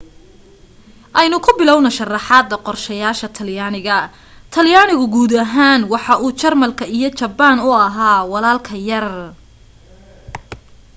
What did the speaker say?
aynu ku bilowno sharraxaada qorshayaasha talyaaniga talyaanigu guud ahaan waxa uu jarmalka iyo jabbaan u ahaa walaalka yar